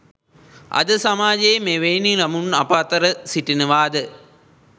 අද සමාජයේ මෙවැනි ළමුන් අප අතර සිටිනවාද